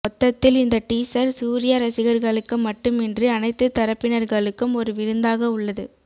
மொத்தத்தில் இந்த டீசர் சூர்யா ரசிகர்களுக்கு மட்டுமின்றி அனைத்து தரப்பினர்களுக்கும் ஒரு விருந்தாக உள்ளது